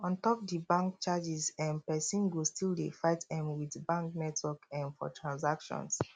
on top di bank charges um persin go still dey fight um with bank network um for transactions